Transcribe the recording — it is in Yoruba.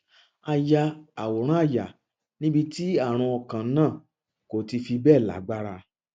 a ya àwòrán àyà níbi tí ààrùn ọkàn náà kò ti fi bẹẹ lágbára